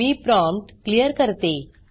मी prompt clear करते